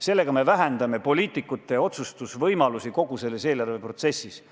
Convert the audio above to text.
Sellega me vähendame poliitikute otsustusvõimalusi kogu selles eelarveprotsessis.